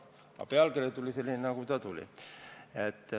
Aga pealkiri tuli selline, nagu ta tuli.